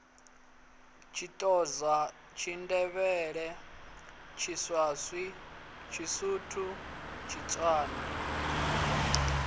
tshithoza tshindevhele tshiswati tshisuthu tshitswana